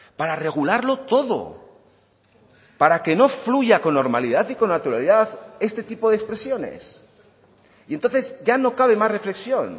para regularlo todo para que no fluya con normalidad y con naturalidad este tipo de expresiones y entonces ya no cabe más reflexión